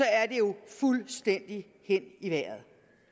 er det jo fuldstændig hen i vejret